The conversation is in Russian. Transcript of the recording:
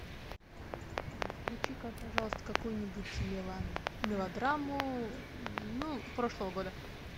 включи ка пожалуйста какую нибудь мелодраму ну прошлого года